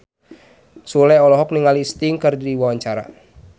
Sule olohok ningali Sting keur diwawancara